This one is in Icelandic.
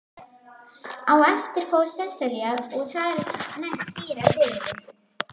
Á eftir fór Sesselja og þar næst síra Sigurður.